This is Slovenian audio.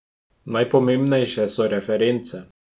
Najpomembnejše so reference.